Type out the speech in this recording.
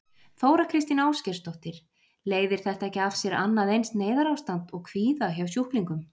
Þóra Kristín Ásgeirsdóttir: Leiðir þetta ekki af sér annað eins neyðarástand og kvíða hjá sjúklingum?